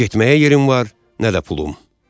nə getməyə yerim var, nə də pulum.